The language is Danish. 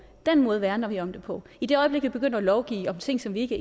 den måde værner vi om det på i det øjeblik vi begynder at lovgive om ting som vi ikke